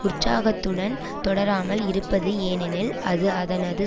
உற்சாகத்துடன் தொடராமல் இருப்பது ஏனெனில் அது அதனது